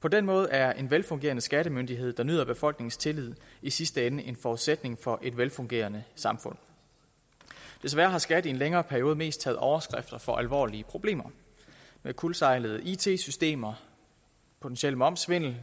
på den måde er en velfungerende skattemyndighed der nyder befolkningens tillid i sidste ende en forudsætning for et velfungerende samfund desværre har skat i en længere periode mest taget overskrifter for alvorlige problemer med kuldsejlede it systemer potentiel momssvindel